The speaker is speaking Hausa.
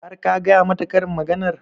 Har ka gaya mata karin maganar?